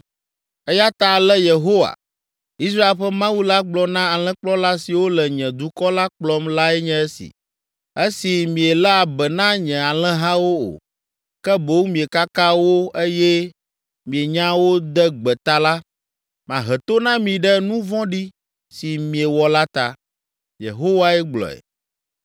Eya ta ale Yehowa, Israel ƒe Mawu la gblɔ na alẽkplɔla siwo le nye dukɔ la kplɔm lae nye esi: “Esi mielé be na nye alẽhawo o, ke boŋ miekaka wo eye mienya wo de gbe ta la, mahe to na mi ɖe nu vɔ̃ɖi si miewɔ la ta.” Yehowae gblɔe.